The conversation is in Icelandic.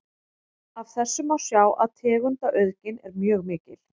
Af þessu má sjá að tegundaauðgin er mjög mikil.